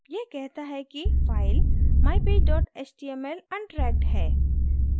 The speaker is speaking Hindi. यह कहता है कि file mypage html untracked है